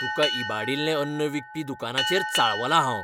तुका इबाडिल्लें अन्न विकपी दुकानाचेर चाळवलां हांव.